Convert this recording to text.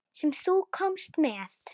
Sem þú komst með.